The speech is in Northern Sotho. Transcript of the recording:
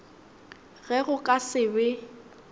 ge go ka se be